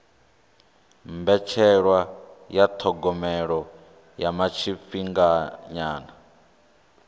mbetshelwa ya thogomelo ya tshifhinganyana